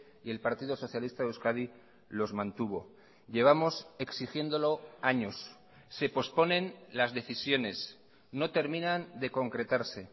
y el partido socialista de euskadi los mantuvo llevamos exigiéndolo años se posponen las decisiones no terminan de concretarse